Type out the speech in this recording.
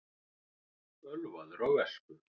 Ölvaður á vespu